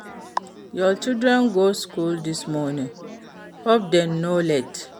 Your children go school this morning? Hope dem no late?